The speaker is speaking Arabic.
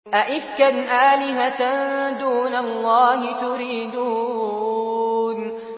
أَئِفْكًا آلِهَةً دُونَ اللَّهِ تُرِيدُونَ